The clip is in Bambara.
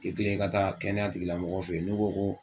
I teliya i ka taa kɛnɛya tigilamɔgɔw fɛ yen n'u ko ko